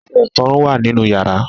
Ọṣẹ-ìfọrun wà nínú ìyàrá.